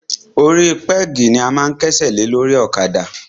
Orí pẹ́gì ni a máa ń kẹ́sẹ̀ lé lórí ọ̀kadà.